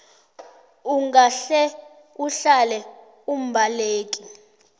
ungahle uhlale umbaleki